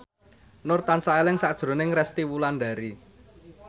Nur tansah eling sakjroning Resty Wulandari